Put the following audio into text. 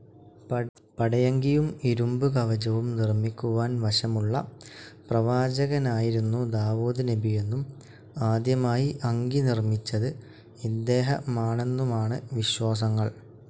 പടയങ്കിയും, ഇരുമ്പ് കവചവും നിർമ്മിക്കുവാൻ വശമുള്ള പ്രവാചകനായിരുന്നു ദാവൂദ് നബിയെന്നും ആദ്യമായി അങ്കി നിർമിച്ചത് ഇദ്ദേഹമാണെന്നുമാണ് വിശ്വാസങ്ങൾ.